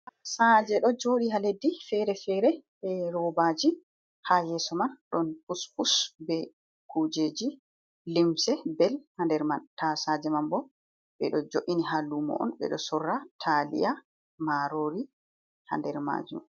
Tasaje ɗo joɗi ha leddi fere-fere e robaji, ha yeso man ɗon puspus be kujeji limse bel ha nder man ta saje man bo ɓeɗo joini ha lumo on ɓeɗo sorra taliya marori ha nder majum.